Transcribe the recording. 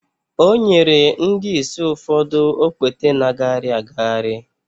o nyere ndị ìsì ụfọdụ okpete na-agagharị agagharị